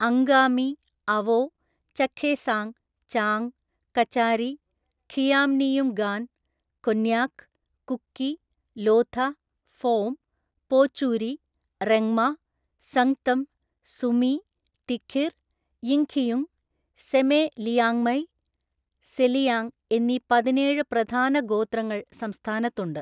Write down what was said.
അംഗാമി, അവോ, ചഖേസാങ്, ചാങ്, കചാരി, ഖിയാമ്നിയുംഗാൻ, കൊന്യാക്, കുക്കി, ലോഥ, ഫോം, പോച്ചൂരി, റെങ്മ, സംഗ്തം, സുമി, തിഖിർ, യിംഖിയുങ്, സെമെ ലിയാങ്മൈ (സെലിയാങ്) എന്നീ പതിനേഴ്‌ പ്രധാന ഗോത്രങ്ങൾ സംസ്ഥാനത്തുണ്ട്.